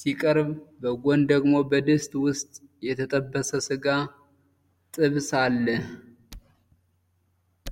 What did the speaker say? ሲቀርብ፣ በጎን ደግሞ በድስት ውስጥ የተጠበሰ ስጋ (ጥብስ) አለ።